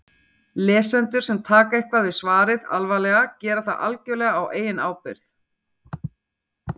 Lesendur sem taka eitthvað við svarið alvarlega gera það algjörlega á eigin ábyrgð.